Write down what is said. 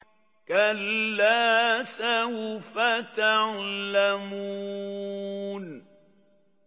كَلَّا سَوْفَ تَعْلَمُونَ